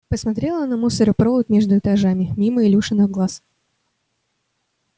посмотрела на мусоропровод между этажами мимо илюшиных глаз